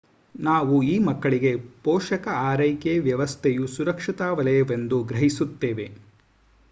ನಾವು ಈ ಮಕ್ಕಳಿಗೆ ಪೋಷಕ ಆರೈಕೆ ವ್ಯವಸ್ಥೆಯು ಸುರಕ್ಷತಾ ವಲಯವೆಂದು ಗ್ರಹಿಸುತ್ತೇವೆ